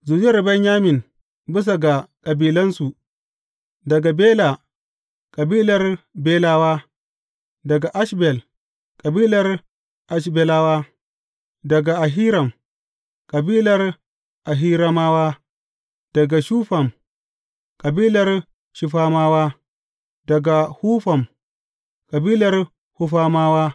Zuriyar Benyamin bisa ga kabilansu, daga Bela, kabilar Belawa; daga Ashbel, kabilar Ashbelawa; daga Ahiram, kabilar Ahiramawa; daga Shufam, kabilar Shufamawa; daga Hufam, kabilar Hufamawa.